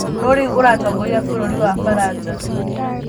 Nũ rĩu ũratongoria bũrũri wa Baranja?